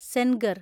Sengar